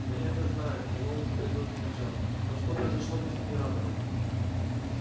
да я это знаю мэллоу теперь тоже кричал но что произошло бы с генератором